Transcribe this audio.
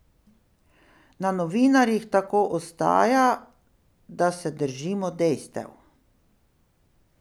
Na novinarjih tako ostaja, da se držimo dejstev.